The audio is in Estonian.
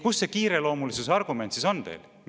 Kus see kiireloomulisuse argument siis on teil?